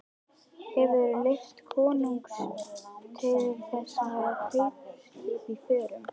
Hefurðu leyfi konungs til þess að hafa kaupskip í förum?